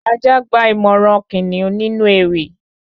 Ajá gba ìmọ̀ràn kìnìún nínú ewì